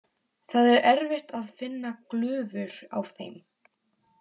Það er erfitt að finna glufur á þeim.